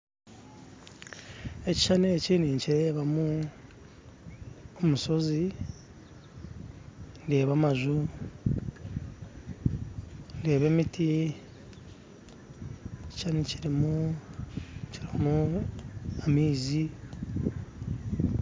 Ekishushani eki ninkirebamu omushozi ndeeba amaju ndeeba emiti, ekishushani kirimu amaizi.